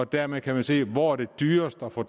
dermed kan man se hvor det er dyrest at få